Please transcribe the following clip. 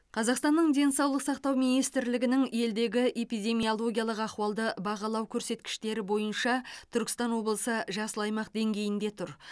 қазақстанның денсаулық сақтау министрлігінің елдегі эпидемиологиялық ахуалды бағалау көрсеткіштері бойынша түркістан облысы жасыл аймақ деңгейінде тұр